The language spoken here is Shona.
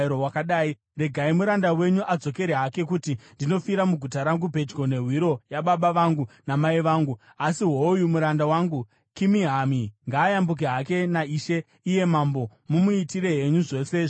Regai muranda wenyu adzokere hake, kuti ndinofira muguta rangu pedyo nehwiro hwababa vangu namai vangu. Asi hoyu muranda wangu Kimihami. Ngaayambuke hake naishe iye mambo. Mumuitire henyu zvose zvinokufadzai.”